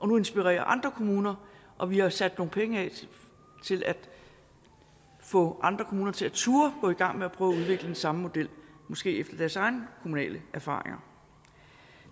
nu inspirerer andre kommuner og vi har sat nogle penge af til at få andre kommuner til at turde gå i gang med at prøve at udvikle den samme model måske efter deres egne kommunale erfaringer